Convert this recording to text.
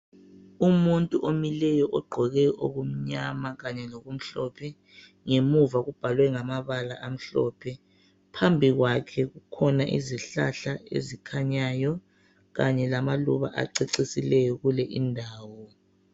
Umuntu omileyo ogqoke okumnyama lokumhlophe phambi kwakhe kulezihlahla ezimileyo kanye lamaluba acecisileyo kule indawo